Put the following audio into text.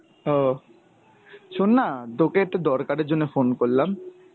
ও. শোননা তোকে একটা দরকারের জন্য phone করলাম.